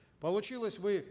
получилось вы